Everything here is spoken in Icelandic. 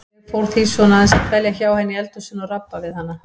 Ég fór því svona aðeins að dvelja hjá henni í eldhúsinu og rabba við hana.